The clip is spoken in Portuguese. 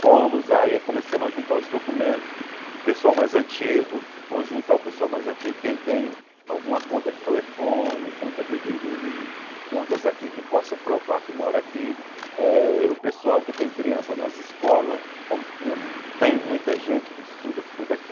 Fomos aí e começamos a juntar os documentos, o pessoal mais antigo, vamos juntar o pessoal mais antigo, quem tem alguma conta de telefone, conta de de de... contas aqui que possa provar que mora aqui, eh o pessoal que tem criança nas escolas, como tinha tem muita gente que estuda tudo aqui.